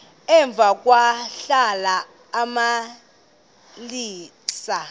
emva kwahlala uxalisa